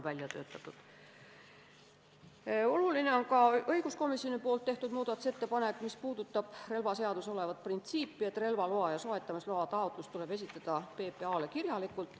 Oluline on ka õiguskomisjoni tehtud muudatusettepanek, mis puudutab relvaseaduses olevat printsiipi, et relvaloa ja soetamisloa taotlus tuleb esitada PPA-le kirjalikult.